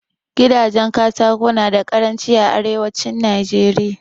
Gidajen Katako nada karanci a arewacin Najeriya